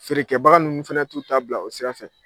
Feerekɛbaga ninnu fɛnɛ t'u ta bila o sira fɛ.